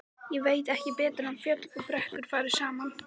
Ég veit ekki betur en fjöll og brekkur fari saman.